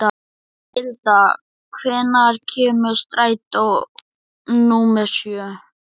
Milda, hvenær kemur strætó númer sjö?